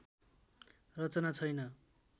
रचना छैन